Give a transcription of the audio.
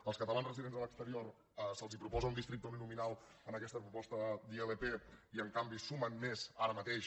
als catalans residents a l’exterior se’ls proposa un districte uninominal en aquesta proposta d’ilp i en canvi sumen més ara mateix